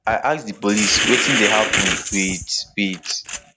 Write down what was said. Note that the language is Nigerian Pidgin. i ask di police wetin dey happun wit wit